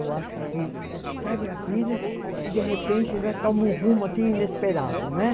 Eu acho que, sabe, a vida de repente toma um rumo assim inesperado, né?